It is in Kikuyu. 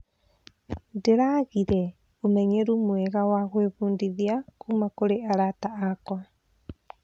Ndĩragĩire ũmenyeru mwega wa gwĩbundithia kuuma kũrĩ arata akwa.